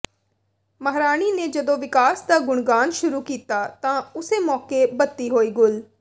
ਮਹਾਰਾਣੀ ਨੇ ਜਦੋਂ ਵਿਕਾਸ ਦਾ ਗੁਣਗਾਨ ਸ਼ੁਰੂ ਕੀਤਾ ਤਾਂ ਉਸੇ ਮੌਕੇ ਬੱਤੀ ਹੋਈ ਗੁੱਲ